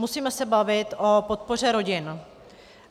Musíme se bavit o podpoře rodin.